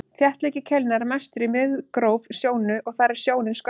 þéttleiki keilna er mestur í miðgróf sjónu og þar er sjónin skörpust